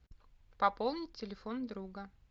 пополнить телефон друга